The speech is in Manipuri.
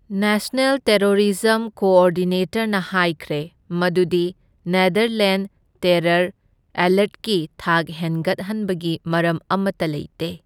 ꯅꯦꯁꯅꯦꯜ ꯇꯦꯔꯣꯔꯤꯖꯝ ꯀꯣꯑꯣꯔꯗꯤꯅꯦꯇꯔꯅ ꯍꯥꯢꯈ꯭ꯔꯦ ꯃꯗꯨꯗꯤ ꯅꯦꯗꯔꯂꯦꯟꯗ ꯇꯦꯔꯔ ꯑꯦꯂꯔꯠꯀꯤ ꯊꯥꯛ ꯍꯦꯟꯒꯠꯍꯟꯕꯒꯤ ꯃꯔꯝ ꯑꯃꯇ ꯂꯩꯇꯦ꯫